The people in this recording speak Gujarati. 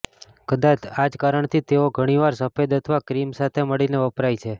કદાચ આ જ કારણથી તેઓ ઘણીવાર સફેદ અથવા ક્રીમ સાથે મળીને વપરાય છે